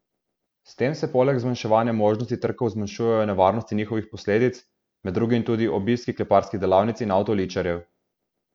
S tem se poleg zmanjševanja možnosti trkov zmanjšujejo nevarnosti njihovih posledic, med drugim tudi obiski kleparskih delavnic in avtoličarjev.